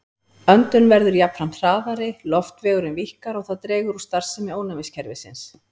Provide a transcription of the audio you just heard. Öndun verður jafnframt hraðari, loftvegurinn víkkar og það dregur úr starfsemi ónæmiskerfisins.